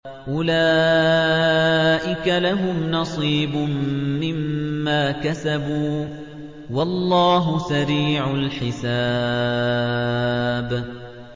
أُولَٰئِكَ لَهُمْ نَصِيبٌ مِّمَّا كَسَبُوا ۚ وَاللَّهُ سَرِيعُ الْحِسَابِ